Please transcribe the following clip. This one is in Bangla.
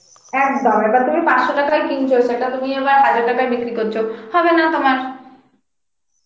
একদম এবার তুমি পাঁচশো টাকায় কিনছ সেটা তুমি এবার হাজার টাকায় বিক্রি করছ, হবে না তোমার